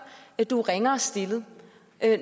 du er ringere stillet